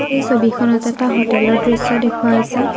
এই ছবিখনত এটা হোটেলৰ দৃশ্য দেখুওৱা হৈছে।